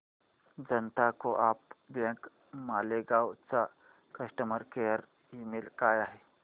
जनता co-op bank Malegaon चा customer care email काय आहे